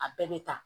A bɛɛ bɛ ta